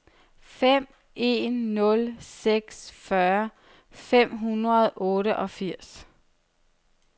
fem en nul seks fyrre fem hundrede og otteogfirs